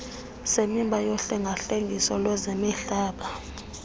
semiba yohlengahlengiso lwezemihlaba